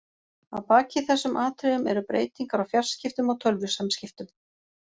Að baki þessum atriðum eru breytingar á fjarskiptum og tölvusamskiptum.